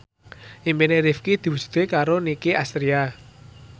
impine Rifqi diwujudke karo Nicky Astria